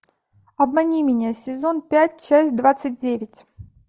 обмани меня сезон пять часть двадцать девять